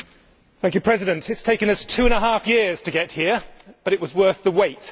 Mr President, it has taken us two and a half years to get here, but it was worth the wait.